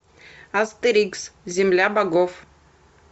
астерикс земля богов